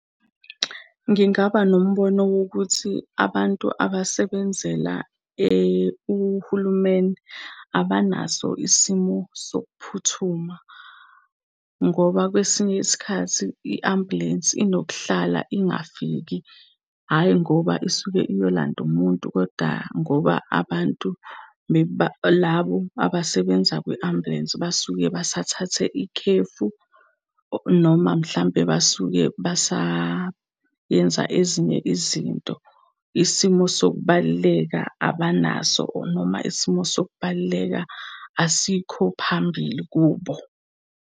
Ngingaba nombono wokuthi abantu abasebenzela, uhulumeni abanaso isimo sokuphuthuma. Ngoba kwesinye isikhathi i-ambulensi inokuhlala ingafiki, hhayi ngoba isuke iyolanda umuntu koda ngoba abantu labo abasebenza kwi-ambulensi basuke basathathe ikhefu, noma mhlampe basuke basayenza ezinye izinto. Isimo sokubaluleka abanaso, or noma isimo sokubaluleka asikho phambili kubo.